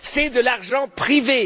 C'est de l'argent privé!